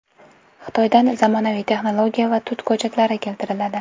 Xitoydan zamonaviy texnologiya va tut ko‘chatlari keltiriladi.